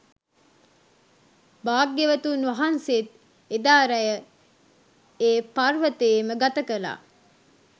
භාග්‍යවතුන් වහන්සේත් එදා රැය ඒ පර්වතයේම ගත කළා.